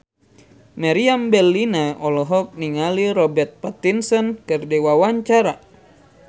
Meriam Bellina olohok ningali Robert Pattinson keur diwawancara